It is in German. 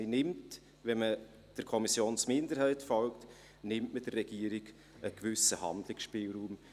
Man nimmt also, wenn man der Kommissionsminderheit folgt, der Regierung einen gewissen Handlungsspielraum.